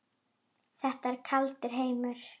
Þetta er kaldur heimur.